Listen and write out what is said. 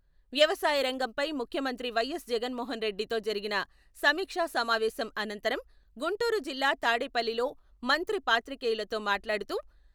వ్యవసాయ రంగంపై ముఖ్యమంత్రి వైఎస్.జగన్మోహన్ రెడ్డితో జరిగిన సమీక్షా సమావేశం అనంతరం గుంటూరు జిల్లా తాడేపల్లిలో మంత్రి పాత్రికేయులతో మాట్లాడుతూ...